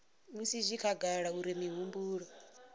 musi zwi khagala uri mihumbulo